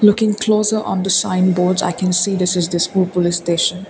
looking closer on the sign boards i can see this is dispur police station.